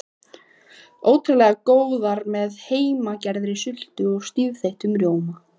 Ótrúlega góðar með heimagerðri sultu og stífþeyttum rjóma.